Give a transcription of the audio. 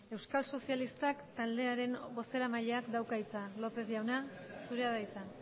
euskal sozialistak taldearen bozeramaileak dauka hitza lópez jauna zurea da hitza